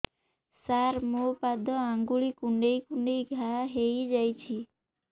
ସାର ମୋ ପାଦ ଆଙ୍ଗୁଳି କୁଣ୍ଡେଇ କୁଣ୍ଡେଇ ଘା ହେଇଯାଇଛି